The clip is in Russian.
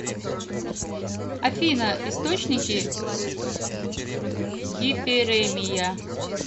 афина источники гиперемия